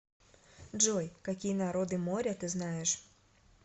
джой какие народы моря ты знаешь